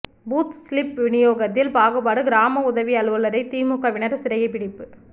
booth slip வினியோகத்தில் பாகுபாடு கிராம உதவி அலுவலரை திமுகவினர் சிறைபிடிப்பு